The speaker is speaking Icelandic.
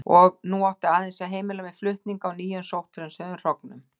Og nú átti aðeins að heimila mér flutning á nýjum sótthreinsuðum hrognum.